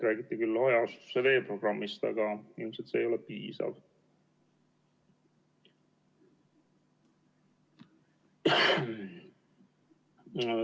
Räägiti küll hajaasustuse veeprogrammist, aga ilmselt see ei ole piisav.